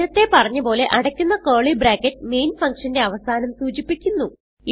നേരത്തെ പറഞ്ഞ പോലെ അടയ്ക്കുന്ന കർലി ബ്രാക്കറ്റ് മെയിൻ ഫങ്ഷന്റെ അവസാനം സൂചിപ്പിക്കുന്നു